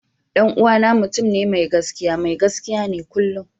Dan uwana mutum ne mai gaskiya, mai gaskiya ne kullum.